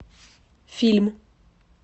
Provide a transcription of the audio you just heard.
фильм